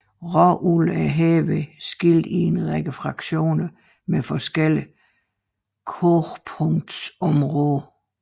Råolien er herved skilt i en række fraktioner med forskellige kogepunktsområder